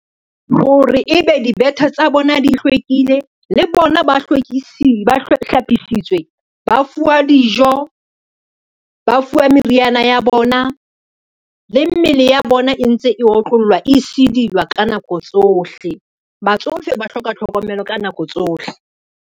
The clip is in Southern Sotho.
Hore ebe dibete tsa bona di hlwekile le bona ba hlapisitswe, ba fuwa dijo, ba fuwa meriana ya bona le mmele ya bona e ntse e otlollwa, e sidilwa ka nako tsohle, batsofe ba hloka tlhokomelo ka nako tsohle.